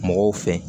Mɔgɔw fɛ